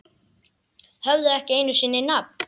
Höfðu ekki einu sinni nafn.